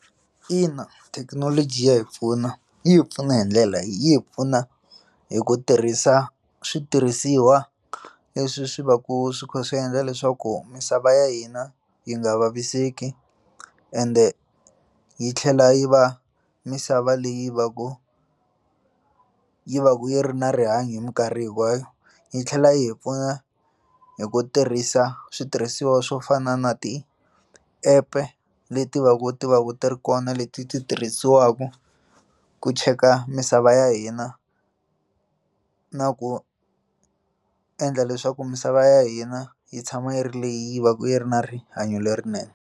Ina, thekinoloji ya hi pfuna yi hi pfuna hi ndlela yini? hi pfuna hi ku tirhisa switirhisiwa leswi swi va ku swi kha swi endla leswaku misava ya hina yi nga vaviseki ende yi tlhela yi va misava leyi va ku yi va yi ri na rihanyo hi mikarhi hinkwayo yi tlhela yi hi pfuna hi ku tirhisa switirhisiwa swo fana na ti app-e leti va ku tiva ku ti ri kona leti ti tirhisiwaka ku cheka misava ya hina na ku endla leswaku misava ya hina yi tshama yi ri leyi va ku yi ri na rihanyo lerinene.